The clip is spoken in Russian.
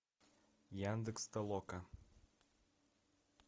яндекс толока